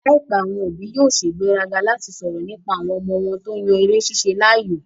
Láìpẹ́, àwọn òbí yóò sègbéraga láti sọ̀rọ̀ nípa àwọn ọmọ wọn tó yan eré ṣíṣe láàyò